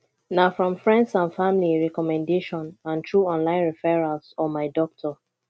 na from friends and family recommendation and through online referrals or my doctor